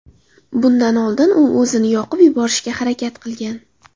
Bundan oldin u o‘zini yoqib yuborishga harakat qilgan.